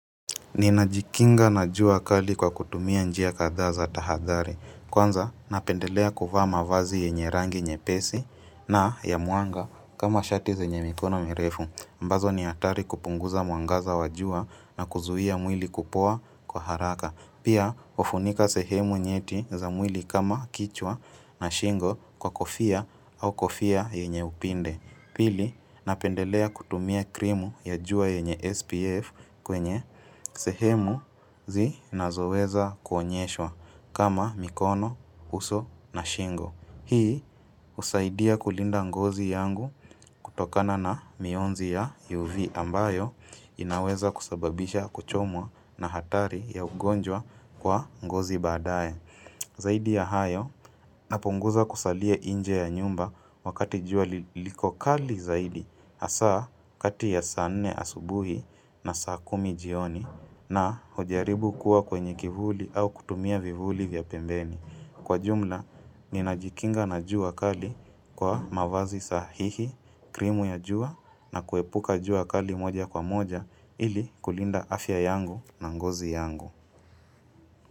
Ni najikinga na jua kali kwa kutumia njia kadhaa za tahadhari. Kwanza, napendelea kuvaa mavazi yenye rangi nyepesi na ya muanga kama shati zenye mikono merefu. Ambazo ni hatari kupunguza mwangaza wajua na kuzuia mwili kupoa kwa haraka. Pia, hufunika sehemu nyeti za mwili kama kichwa na shingo kwa kofia au kofia yenye upinde. Pili, napendelea kutumia krimu ya jua yenye SPF kwenye sehemu zi nazoweza kuonyeshwa kama mikono, uso na shingo. Hii, husaidia kulinda ngozi yangu kutokana na mionzi ya UV ambayo inaweza kusababisha kuchomwa na hatari ya ugonjwa kwa ngozi baadae. Zaidi ya hayo napunguza kusalie nje ya nyumba wakati jua liko kali zaidi hasaa kati ya saa nne asubuhi na saa kumi jioni na kujaribu kuwa kwenye kivuli au kutumia vivuli vya pembeni. Kwa jumla, ninajikinga na jua kali kwa mavazi sahihi, krimu ya jua na kuepuka jua kali moja kwa moja ili kulinda afya yangu na ngozi yangu.